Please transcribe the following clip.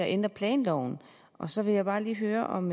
ændre planloven og så vil jeg bare lige høre om